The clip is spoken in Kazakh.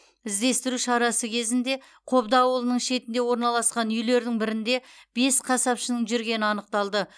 іздестіру шарасы кезінде қобда ауылының шетінде орналасқан үйлердің бірінде бес қасапшының жүргені анықталды